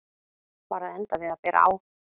Var að enda við að bera á